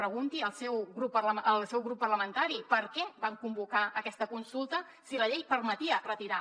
pregunti ho al seu grup parlamentari per què van convocar aquesta consulta si la llei permetia retirar